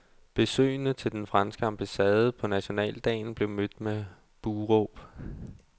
Besøgende til den franske ambassade på nationaldagen blev mødt med buhråb.